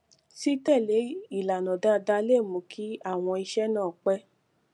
títèlé ìlànà dáadáa lè mú kí àwọn iṣé náà pé